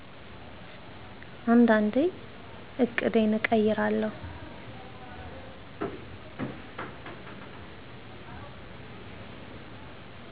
አንዳንዴ ዕቅዴን እቀይራለሁ